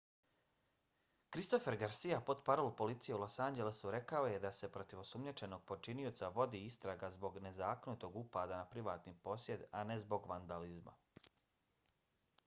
christopher garcia portparol policije u los anđelesu rekao je da se protiv osumnjičenog počinioca vodi istraga zbog nezakonitog upada na privatni posjed a ne zbog vandalizma